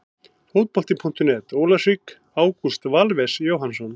Fótbolti.net, Ólafsvík- Ágúst Valves Jóhannsson.